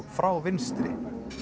frá vinstri